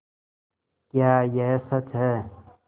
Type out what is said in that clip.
क्या यह सच है